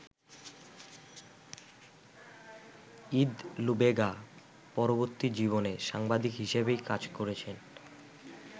Eid Lubega পরবর্তী জীবনে সাংবাদিক হিসেবেই কাজ করেছেন।